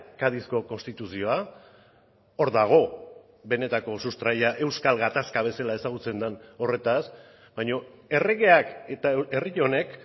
cadizko konstituzioa hor dago benetako sustraia euskal gatazka bezala ezagutzen den horretaz baina erregeak eta herri honek